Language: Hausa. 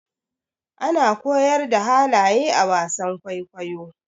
ana koyar da halaye a wasan kwaikwayo